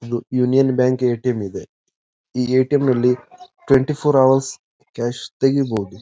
ಇದು union bank ATM ಇದೆ ಈ ಎ.ಟಿ.ಎಂ ನಲ್ಲಿ ಟ್ವೆಂಟಿ ಫೋರ್ ಹೌರ್ಸ್ ಕ್ಯಾಶ್ ತೆಗಿಬೋದು.